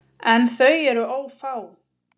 En þau eru ófá.